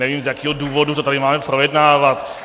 Nevím, z jakého důvodu to tady máme projednávat.